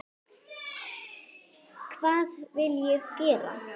Hvað vill ég gera?